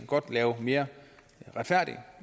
godt lave mere retfærdig